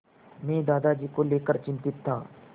मैं दादाजी को लेकर चिंतित था